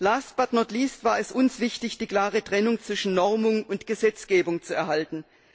Last but not least war es uns wichtig, die klare Trennung zwischen Normung und Gesetzgebung zu erhalten.